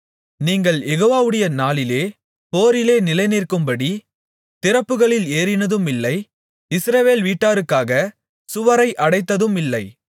நீங்கள் யெகோவாவுடைய நாளிலே போரிலே நிலைநிற்கும்படி திறப்புகளில் ஏறினதுமில்லை இஸ்ரவேல் வீட்டாருக்காகச் சுவரை அடைத்ததுமில்லை